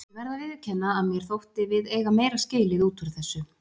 Ég verð að viðurkenna að mér þótti við eiga meira skilið út úr þessu.